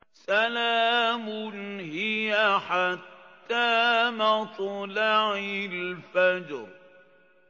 سَلَامٌ هِيَ حَتَّىٰ مَطْلَعِ الْفَجْرِ